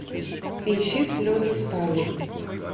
ищи слезы стали